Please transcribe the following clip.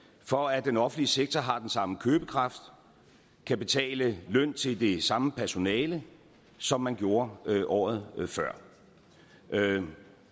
for at den offentlige sektor har den samme købekraft kan betale løn til det samme personale som man gjorde året før